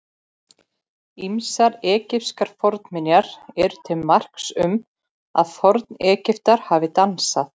Ýmsar egypskar fornminjar eru til marks um að Forn-Egyptar hafi dansað.